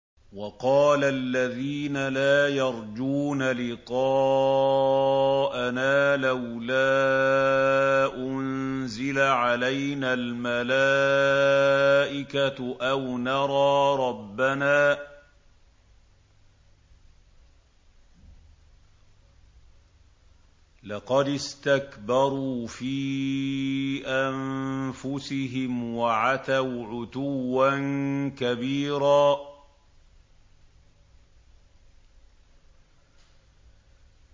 ۞ وَقَالَ الَّذِينَ لَا يَرْجُونَ لِقَاءَنَا لَوْلَا أُنزِلَ عَلَيْنَا الْمَلَائِكَةُ أَوْ نَرَىٰ رَبَّنَا ۗ لَقَدِ اسْتَكْبَرُوا فِي أَنفُسِهِمْ وَعَتَوْا عُتُوًّا كَبِيرًا